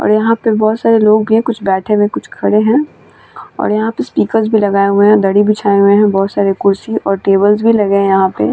और यहाँ पर बोहोत सारे लोग भी है कुछ बैठे हुए है कुछ खड़े है और यहाँ पे स्पीकर भी लगाए हुए है दरी बिछाए हुए है और बोहोत सारे कुर्शी और टेबल्स भी लगे है यहाँ पे --